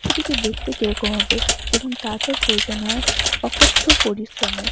সেটিকে দেখতে কিরকম হবে এবং তারপর প্রয়োজন হয় অকত্থ পরিশ্রমের।